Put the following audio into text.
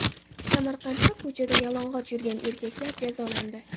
Samarqandda ko‘chada yalang‘och yurgan erkaklar jazolandi.